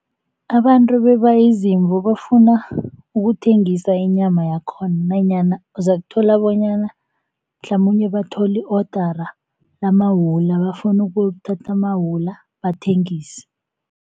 Abantu beba izimvu bafuna ukuthengisa inyama yakhona nanyana uzakuthola bonyana mhlamunye bathole i-odara lamawula bafuna ukuyokuthatha amawula bathengise.